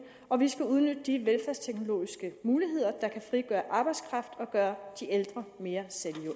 og vi skal udnytte de velfærdsteknologiske muligheder der kan frigøre arbejdskraft og gøre de ældre mere